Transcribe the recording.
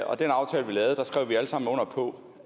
sammen under på